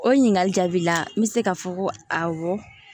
O ɲininkali jaabi la n bɛ se k'a fɔ ko awɔ